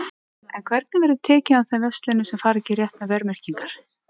En hvernig verður tekið á þeim verslunum sem að fara ekki rétt með verðmerkingar?